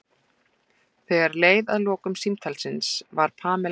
Þegar leið að lokum símtalsins var Pamela